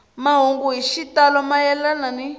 mahungu hi xitalo mayelana ni